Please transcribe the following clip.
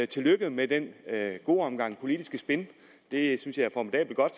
tillykke med den gode omgang politisk spin det synes jeg er formidabelt godt